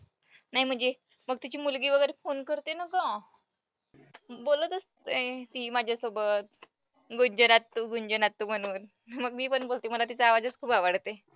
नाही म्हणजे मग तिची मुलगी वगैरे phone करते ना गं, बोलत असते ती माझ्यासोबत. म्हणून मग मी पण बोलते मला तिचा आवाजच खूप आवडते.